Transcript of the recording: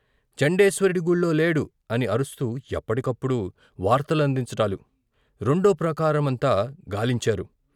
చండేశ్వరుడి గుళ్ళో లేడు అని అరుస్తూ ఎప్పటి కప్పుడు వార్త లందించటాలు, రెండో ప్రాకారమంతా గాలించారు.